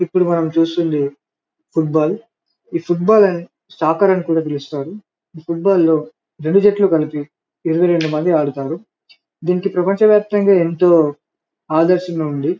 ఇప్పుడు మనం చూస్తుంది ఫుట్బాల్ ఈ ఫుట్బాల్ నే స్టాకెర్ అనింకూడా పిలుస్తారు ఈ ఫుట్బాల్ లో రెండు జంటలు కలిపి ఇరువై రెండు మంది ఆడుతారు దీనికి ప్రపంచ వ్యాప్తంగా ఎంతో ఆదర్శంగా ఉంది.